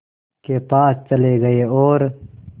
के पास चले गए और